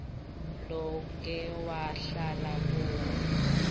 loke wahlala kuwo